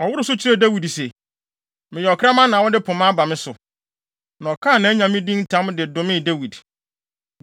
Ɔworoo so kyerɛɛ Dawid se, “Meyɛ ɔkraman na wode pema aba me so?” Na ɔkaa nʼanyame din ntam de domee Dawid.